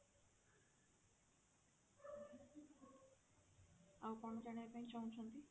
ଆଉ କଣ ଜାଣିବା ପାଇଁ ଚାହୁଁଛନ୍ତି?